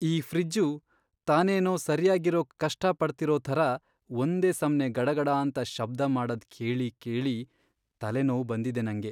ಈ ಫ್ರಿಜ್ಜು ತಾನೇನೋ ಸರ್ಯಾಗಿರೋಕ್ ಕಷ್ಟಪಡ್ತಿರೋ ಥರ ಒಂದೇ ಸಮ್ನೇ ಗಡಗಡಾಂತ ಶಬ್ದ ಮಾಡದ್ ಕೇಳಿ ಕೇಳಿ ತಲೆನೋವ್ ಬಂದಿದೆ ನಂಗೆ.